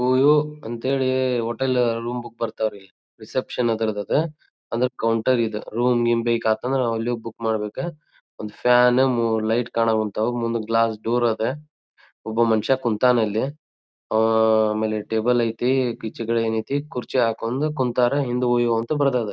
OYO ಅಂತ ಹೇಳಿ hotel room book ಬರತ್ತರಿ ರಿಸೆಪ್ಶನ್ ಅದ್ರದ್ ಅದ್ ಅಂದ್ರ ಕೌಂಟರ್ ಇದು ರೂಮ್ ಗಿಮ್ ಬೇಕಾತಂದ್ರೆ ನಾವ್ ಇಲ್ಲಿ ಹೋಗಿ ಬುಕ್ ಮಾಡಬೇಕ ಒಂದ್ ಫ್ಯಾನ್ ಮೂರ್ ಲೈಟ್ ಕಾಣಉಂತ್ತವು ಮುಂದ್ ಗ್ಲಾಸ್ ಡೋರ್ ಅದ್ ಒಬ್ಬ ಮನಷ್ಯ ಕುಂತನ್ ಅಲ್ಲಿ ಅಹ್ ಆಮೇಲೆ ಟೇಬಲ್ ಐತಿ ಪೀಚೆಕಡೆ ಏನ್ ಐತಿ ಕುರ್ಚಿ ಹಾಕೊಂಡು ಕುಂತ್ತರ್ ಹಿಂದ್ ಓಯೋ ಅಂತ ಬರದರ್.